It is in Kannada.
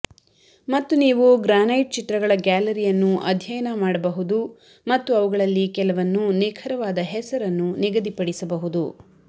ಮತ್ತು ನೀವು ಗ್ರಾನೈಟ್ ಚಿತ್ರಗಳ ಗ್ಯಾಲರಿಯನ್ನು ಅಧ್ಯಯನ ಮಾಡಬಹುದು ಮತ್ತು ಅವುಗಳಲ್ಲಿ ಕೆಲವನ್ನು ನಿಖರವಾದ ಹೆಸರನ್ನು ನಿಗದಿಪಡಿಸಬಹುದು